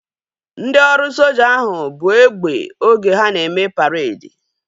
Ndị ọrụ soja ahu buu egbe oge ha na-eme paredi